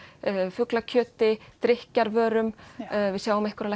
fuglakjöti drykkjarvörum við sjáum einhverja